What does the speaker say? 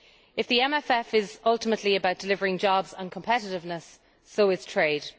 If the MFF is ultimately about delivering jobs and competitiveness, so is trade.